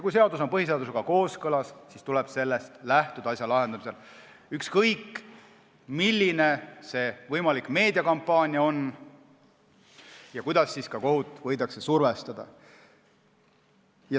Kui seadus on põhiseadusega kooskõlas, siis tuleb asja lahendamisel lähtuda sellest, ükskõik, milline on võimalik meediakampaania ja kuidas kohut võidakse survestada.